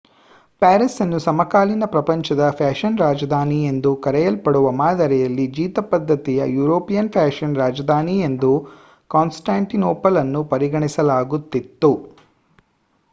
Paris ಅನ್ನು ಸಮಕಾಲೀನ ಪ್ರಪಂಚದ ಫ್ಯಾಷನ್ ರಾಜಧಾನಿ ಎಂದು ಕರೆಯಲ್ಪಡುವ ಮಾದರಿಯಲ್ಲಿ ಜೀತಪದ್ಧತಿಯ ಯುರೋಪಿನ ಫ್ಯಾಷನ್ ರಾಜಧಾನಿ ಎಂದು ಕಾಂಸ್ಟಾಂಟಿನೊಪಲ್ ಅನ್ನು ಪರಿಗಣಿಸಲಾಗುತ್ತಿತ್ತು